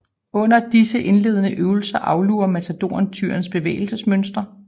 Under disse indledende øvelser aflurer matadoren tyrens bevægelsesmønstre